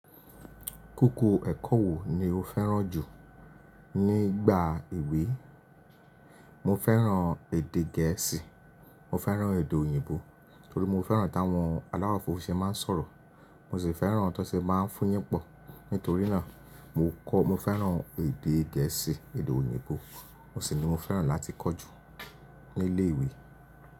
Kókó ẹ̀kọ́ wo ni o fẹ́ràn jù nígbà ìwé? Mo fẹ́ràn èdè Gẹ̀ẹ́sì, mo fẹ́ràn èdè òyìnbó, torí mo fẹ́ràn táwọn aláwọ̀ funfun se máa ń sọ̀rọ̀. Mo sì fẹ́ràn to ṣe máa ń fúyìn pọ̀. Nítorí náà mo kọ́, mo fẹ́ràn èdè Gẹ̀ẹ́sì, èdè òyìnbó, mo sì ní mo fẹ́ràn láti kọ́ ju ní ilé ìwé.